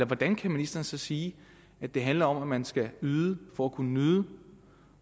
hvordan kan ministeren så sige at det handler om at man skal yde for at kunne nyde